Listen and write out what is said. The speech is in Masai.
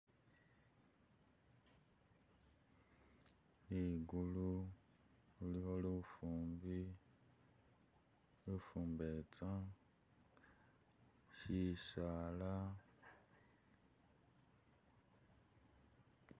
Ligulu khulikho lufumbi, lufumbetsa shisala